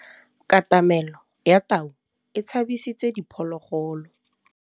Katamêlô ya tau e tshabisitse diphôlôgôlô.